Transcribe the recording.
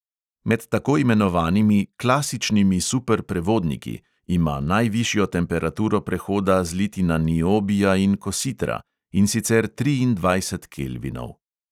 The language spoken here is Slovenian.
Med tako imenovanimi "klasičnimi superprevodniki" ima najvišjo temperaturo prehoda zlitina niobija in kositra, in sicer triindvajset kelvinov.